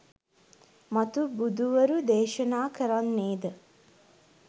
මතු බුදුවරු දේශනා කරන්නේ ද